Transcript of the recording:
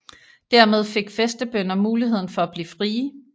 Dermed fik fæstebønder muligheden for at blive frie